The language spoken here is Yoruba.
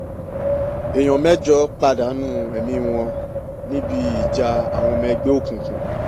èèyàn mẹ́jọ pàdánù ẹ̀mí wọn níbi ìjà àwọn ọmọ ẹgbẹ́ òkùnkùn